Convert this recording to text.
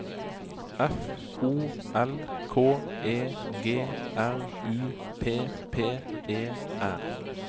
F O L K E G R U P P E R